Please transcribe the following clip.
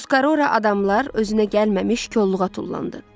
Tuskora adamlar özünə gəlməmiş kolluğa tullandı.